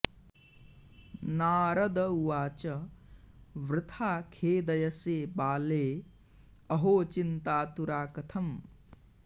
नारद उवाच वृथा खेदयसे बाले अहो चिन्ताऽऽतुरा कथम्